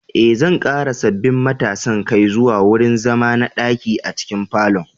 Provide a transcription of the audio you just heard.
Eh, zan ƙara sabbin matasan kai zuwa wurin zama na ɗaki a cikin falon